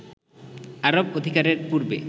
আরব অধিকারের পূর্বে